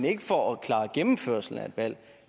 ikke for at klare gennemførslen af et valg